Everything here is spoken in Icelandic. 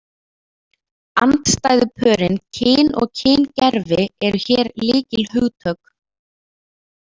Andstæðupörin kyn og kyngervi eru hér lykilhugtök.